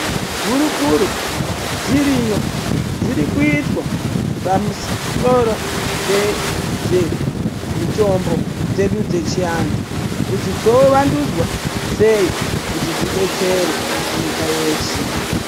Hurukuro dziriyo dzirikuitwa pamusoro pemitombo dzedu dzechiantu kuti dzovandudzwa sei kuti dzidetsere nyika yeshe.